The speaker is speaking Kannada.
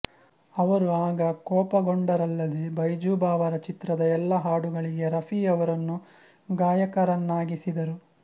ಅವರು ಆಗ ಕೋಪಗೊಂಡರಲ್ಲದೇ ಬೈಜು ಬಾವರಾ ಚಿತ್ರದ ಎಲ್ಲಾ ಹಾಡುಗಳಿಗೆ ರಫಿ ಅವರನ್ನು ಗಾಯಕರನ್ನಾಗಿಸಿದರು